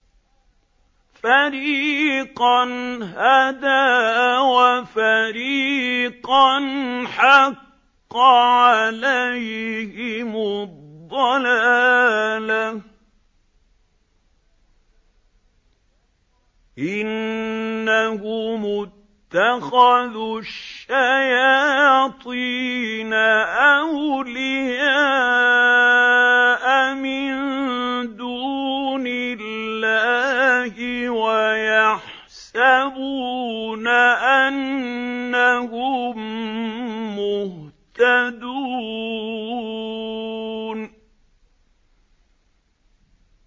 فَرِيقًا هَدَىٰ وَفَرِيقًا حَقَّ عَلَيْهِمُ الضَّلَالَةُ ۗ إِنَّهُمُ اتَّخَذُوا الشَّيَاطِينَ أَوْلِيَاءَ مِن دُونِ اللَّهِ وَيَحْسَبُونَ أَنَّهُم مُّهْتَدُونَ